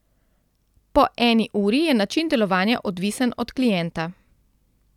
Po eni uri je način delovanja odvisen od klienta.